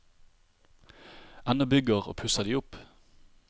Ennå bygger og pusser de opp.